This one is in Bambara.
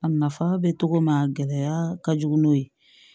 A nafa bɛ cogo min na gɛlɛya ka jugu n'o ye